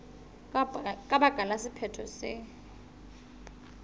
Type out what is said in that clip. ka baka la sephetho se